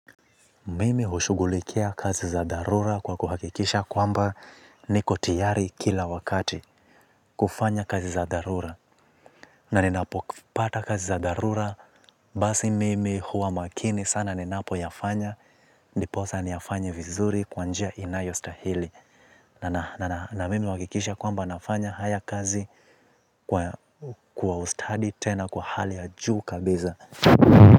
Mimi hushughulikia kazi za dharura kwa kuhakikisha kwamba niko tiyari kila wakati kufanya kazi za dharura. Na ninapopata kazi za dharura basi mimi huwa makini sana ninapoyafanya ndiposa niyafanye vizuri kwa njia inayostahili. Na mimi huwakikisha kwamba nafanya haya kazi kwa ustadi tena kwa hali ya juu kabiza.